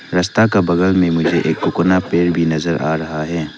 रस्ता का बगल में मुझे एक कोकोना पेड़ भी नजर आ रहा है।